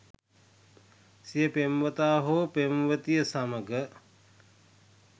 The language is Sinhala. සිය පෙම්වතා හෝ පෙම්වතිය සමඟ